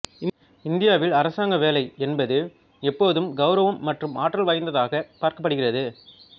இந்தியாவில் அரசாங்க வேலை என்பது எப்போதும் கெளரவம் மற்றும் ஆற்றல் வாய்ந்ததாகப் பார்க்கப்படுகிறது